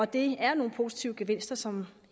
det er nogle positive gevinster som